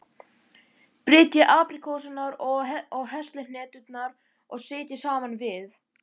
Brytjið apríkósurnar og heslihneturnar og setjið saman við.